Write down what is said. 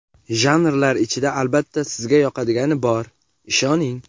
Janrlar ichida albatta sizga yoqadigani bor, ishoning!.